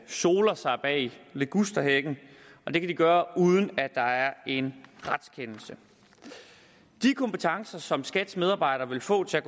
soler sig bag ligusterhækken og det kan de gøre uden at der er en retskendelse de kompetencer som skats medarbejdere vil få til at